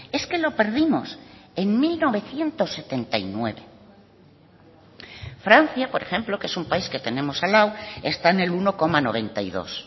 es que lo perdimos en mil novecientos setenta y nueve francia por ejemplo que es un país que tenemos al lado está en el uno coma noventa y dos